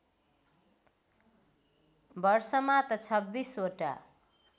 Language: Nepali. वर्षमा त २६ वटा